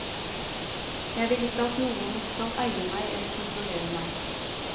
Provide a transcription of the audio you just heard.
Jeg vil ikke at noen skal eie meg eller kontrollere meg.